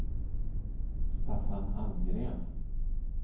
Staffan Almgren